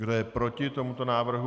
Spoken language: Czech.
Kdo je proti tomuto návrhu?